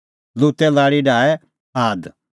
लूते लाल़ी डाहै आद